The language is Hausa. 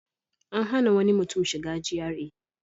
An hana wani mutum shiga GRA.